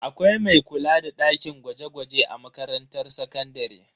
Akwai mai kula da dakin gwaje-gwaje a makarantar sakandare.